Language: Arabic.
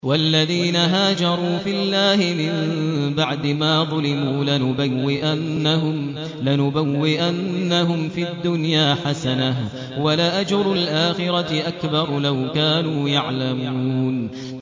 وَالَّذِينَ هَاجَرُوا فِي اللَّهِ مِن بَعْدِ مَا ظُلِمُوا لَنُبَوِّئَنَّهُمْ فِي الدُّنْيَا حَسَنَةً ۖ وَلَأَجْرُ الْآخِرَةِ أَكْبَرُ ۚ لَوْ كَانُوا يَعْلَمُونَ